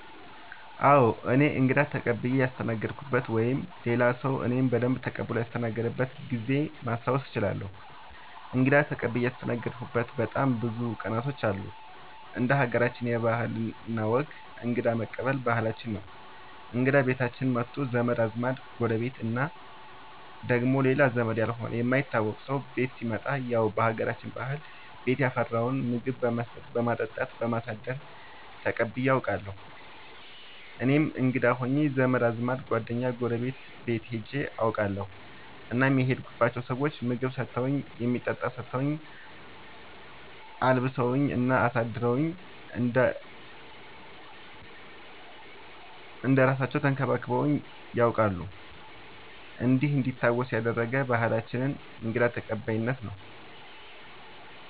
አዎ እኔ እንግዳ ተቀብየ ያስተናገድኩበት ወይም ሌላ ሰዉ እኔን በደንብ ተቀብሎ ያስተናገደበት ጊዜ ማስታወስ እችላለሁ። እንግዳ ተቀብዬ ያስተናገድሁበት በጣም ብዙ ቀናቶች አሉ እንደ ሀገራችን ባህል እና ወግ እንግዳ መቀበል ባህላችን ነው እንግዳ ቤታችን መቶ ዘመድ አዝማድ ጎረቤት እና ደግሞ ሌላ ዘመድ ያልሆነ የማይታወቅ ሰው ቤት ሲመጣ ያው በሀገራችን ባህል ቤት ያፈራውን ምግብ በመስጠት በማጠጣት በማሳደር ተቀብዬ አውቃለሁ። እኔም እንግዳ ሆኜ ዘመድ አዝማድ ጓደኛ ጎረቤት ቤት ሄጄ አውቃለሁ እናም የሄድኩባቸው ሰዎች ምግብ ሰተውኝ የሚጠጣ ሰተውኝ አልብሰውኝ እና አሳድረውኝ እንደ እራሳለው ተንከባክበውኝ ነያውቃሉ እንዲህ እንዲታወስ ያደረገ ባህላችንን እንግዳ ተቀባይነት ነው።